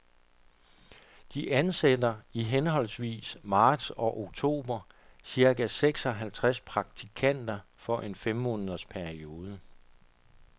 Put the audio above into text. De ansætter i henholdsvis marts og oktober cirka seks halvtreds praktikanter for en fem måneders periode.